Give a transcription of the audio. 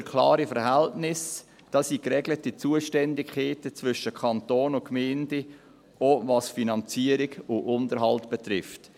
Hier haben wir klare Verhältnisse, es bestehen geregelte Zuständigkeiten zwischen dem Kanton und den Gemeinden, auch was die Finanzierung und den Unterhalt betrifft.